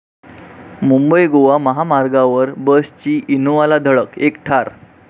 मुंबई गोवा महामार्गावर बसची इनोव्हाला धडक, एक ठार